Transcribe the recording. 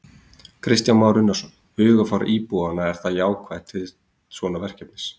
Kristján Már Unnarsson: Hugarfar íbúanna er það jákvætt til svona verkefnis?